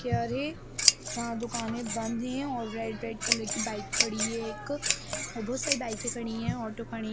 क्या रे चार दुकाने बंद हैं और रेड-रेड कलर की बाइक खड़ी है एक और बहुत सरे बाइके खड़ी हैं ऑटो खड़े--